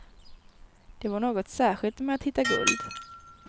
Det var något särskilt med att hitta guld.